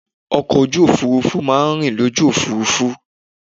Ọkọ̀ ojú òfurufú má a ń rìn lójú òfurufú